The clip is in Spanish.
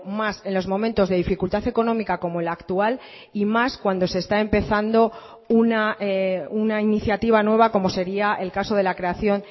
más en los momentos de dificultad económica como la actual y más cuando se está empezando una iniciativa nueva como sería el caso de la creación